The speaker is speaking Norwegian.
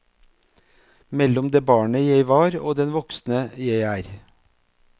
Mellom det barnet jeg var og den voksne jeg er.